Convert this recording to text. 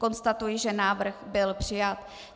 Konstatuji, že návrh byl přijat.